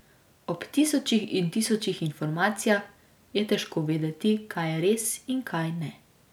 Ob tisočih in tisočih informacijah je težko vedeti, kaj je res in kaj ne.